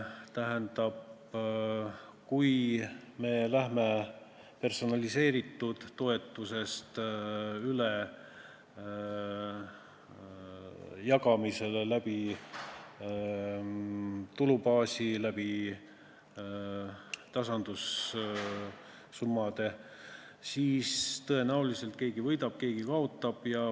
Tähendab, kui me läheme personaliseeritud toetuselt üle jagamisele tulubaasi, tasandussummade kaudu, siis tõenäoliselt keegi võidab ja keegi kaotab.